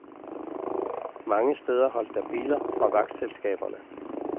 Mange steder holdt der biler fra vagtselskaberne.